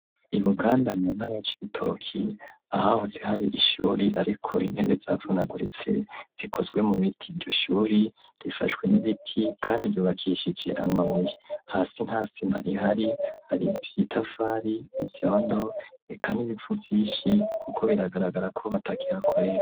i buganda muntara ya cibitoki , ahahoze hari ishuri ariko intebe zavunaguritse , zikozwe mu biti iryo shuri rifashwe n'ibiti kandi ryubakishije amabuye hasi nta sima ihari , haribitafari ivyondo eka n'ibivu vyishi , kuko biragaragara ko batakihakorera.